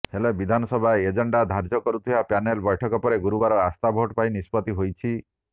ହେଲେ ବିଧାନସଭା ଏଜେଣ୍ଡା ଧାର୍ଯ୍ୟ କରୁଥିବା ପ୍ୟାନେଲ ବୈଠକ ପରେ ଗୁରୁବାର ଆସ୍ଥା ଭୋଟ ପାଇଁ ନିଷ୍ପତ୍ତି ହୋଇଛି